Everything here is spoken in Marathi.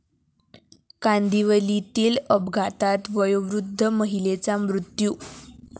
कांदिवलीतील अपघातात वयोवृद्ध महिलेचा मृत्यू